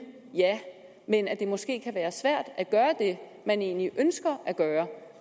men at det måske kan være svært at gøre det man egentlig ønsker at gøre